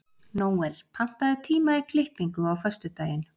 Nóel, pantaðu tíma í klippingu á föstudaginn.